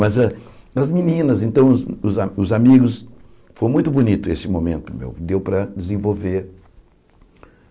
Mas a as meninas, então os a os amigos, foi muito bonito esse momento meu, deu para desenvolver.